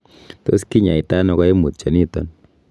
Tos kinyaita ono koimutioniton?